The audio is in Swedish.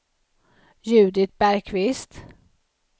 Judit Bergkvist